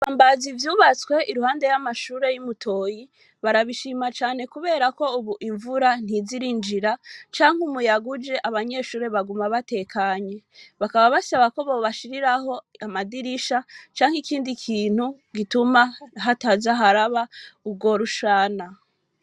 Ibibambazi vyubtswe iruhande y'amashuri yi mutoyi barabishima cane kuberako ubu imvura ntiza irinjira canke umuyaga uje abanyeshuri baguma batekanye bakaba basaba ko bobashiriraho amadirisha canke ikindi kintu gituma hataza haraba urwo rushana.